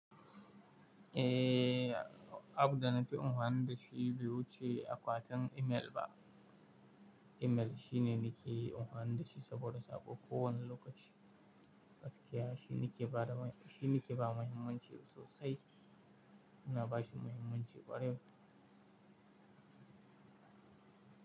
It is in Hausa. Ehh, app da na fi amfani da shi biyu ce akwatin imel ba. Imel shine nake amfani da shi saboda a kowane lokaci, gaskiya, shine ke ba da ma, shine ke ba muhimmanci sosai, ina ba shi muhimmanci kwarai.